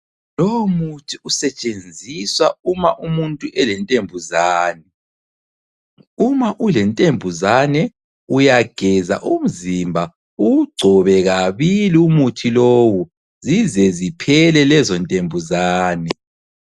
Lowo muthi usetshenziswa uma umuntu elentembuzane . Uma ulentembuzane uyageza umzimba uwugcobe kabili umuthi lowu, zize ziphele lezo ntembuzane.